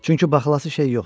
Çünki baxılası şey yoxdur.